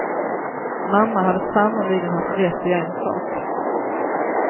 Mamma hade sannerligen haft rätt i en sak.